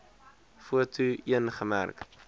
foto l gemerk